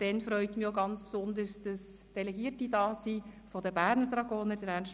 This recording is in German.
Im Weiteren freut es mich ganz besonders, dass Delegierte der Berner Dragoner anwesend sind: